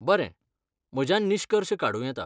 बरें, म्हज्यान निश्कर्श काडूं येता.